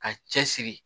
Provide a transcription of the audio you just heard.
Ka cɛsiri